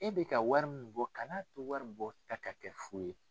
E bɛ ka wari min bɔ kan'a to wari in bɔta ka kɛ fu ye.